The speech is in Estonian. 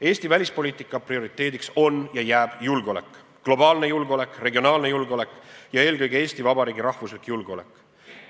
Eesti välispoliitika prioriteediks on ja jääb julgeolek: globaalne julgeolek, regionaalne julgeolek ja eelkõige Eesti Vabariigi rahvuslik julgeolek.